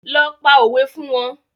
Lọ pa òwe fún wọn